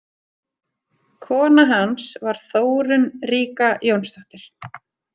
Kona hans var Þórunn ríka Jónsdóttir.